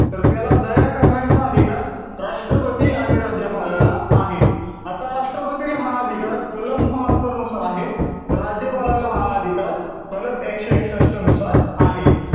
तर त्याला दया करण्याचा अधिकार राष्ट्रपती आणि राज्यपालाला आहे. आता राष्ट्रपतीला हा अधिकार, कलम बहात्तर नुसार आहे. तर राज्यपालाला हा अधिकार कलम एकशे एकसष्ट नुसार आहे.